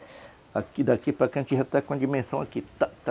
Aqui, daqui para cá, a gente já está com a dimensão aqui, tá tá